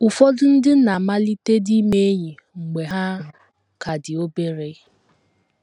Ụfọdụ ndị na - amalitedị ime enyi mgbe ha ka dị obere.